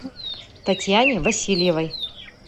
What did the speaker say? татьяне васильевой